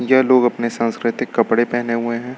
यह लोग अपने सांस्कृतिक कपड़े पहने हुए हैं।